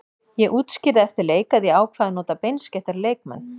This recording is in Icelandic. Ég útskýrði eftir leik að ég ákvað að nota beinskeyttari leikmenn.